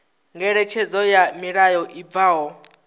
ngeletshedzo ya mulayo i bvaho